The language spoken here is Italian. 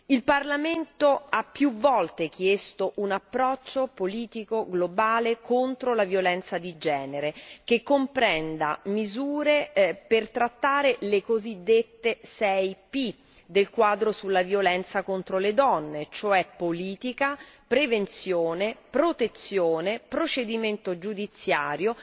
Il Parlamento ha più volte chiesto un approccio politico globale contro la violenza di genere che comprenda misure per trattare le cosiddette 6 P del quadro sulla violenza contro le donne e cioè politica, prevenzione, protezione, procedimento giudiziario,